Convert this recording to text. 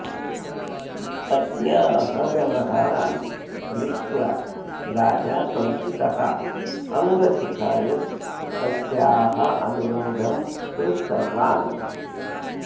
पत्न्याः व्यवहारान् दृष्ट्वा राजा कौशिकः अङ्गसुखाय तस्याः अनुरोधं कृतवान्